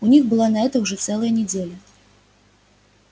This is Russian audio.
у них была на это уже целая неделя